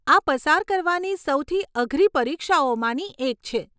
આ પસાર કરવાની સૌથી અઘરી પરીક્ષાઓમાંની એક છે.